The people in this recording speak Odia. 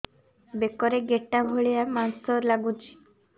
ବେକରେ ଗେଟା ଭଳିଆ ମାଂସ ଲାଗୁଚି